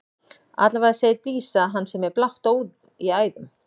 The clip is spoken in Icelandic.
Allavega segir Dísa að hann sé með blátt blóð í æðum.